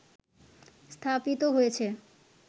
স্থাপিত হয়েছে